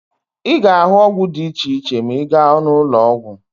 Ị ga-ahụ ọgwụ dị iche iche ma ị gaa n'ụlọọgwụ